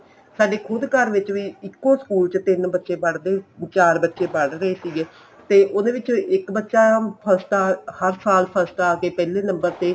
ਸਾਡੇ ਖੁੱਦ ਘਰ ਵਿੱਚ ਵੀ ਇੱਕੋ school ਚ ਤਿੰਨ ਬੱਚੇ ਪੜ੍ਹਦੇ ਚਾਰ ਬੱਚੇ ਪੜ੍ਹ ਰਹੇ ਸੀਗੇ ਤੇ ਉਹਦੇ ਵਿਚੋ ਇੱਕ ਬੱਚਾ ਹਰ ਸਾਲ ਹਰ ਸਾਲ first ਆ ਕੇ ਪਹਿਲੇ number ਤੇ